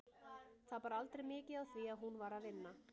Það bar aldrei mikið á því að hún var að vinna.